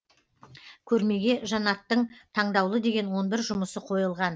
көрмеге жанаттың таңдаулы деген он бір жұмысы қойылған